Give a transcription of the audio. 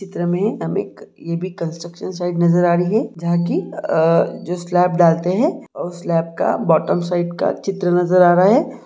चित्र में हमे एक ई कंस्ट्रक्शन साईड नजर आ रही हैजहा की जो स्लैब डालते है उस लैब का बॉटम साइड का चित्र नजर आ रहा है।